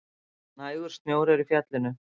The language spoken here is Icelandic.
Nægur snjór er í fjallinu